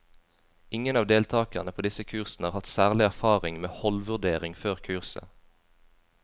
Ingen av deltakerne på disse kursene har hatt særlig erfaring med holdvurdering før kurset.